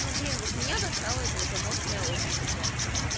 ну блин вот меня достало это вот аморфное общество